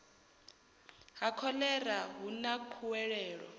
ha khoḽera hu na khuwelelo